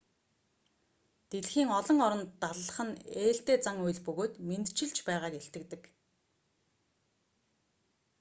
дэлхийн олон оронд даллах нь ээлтэй зан үйл бөгөөд мэндчилж байгааг илтгэдэг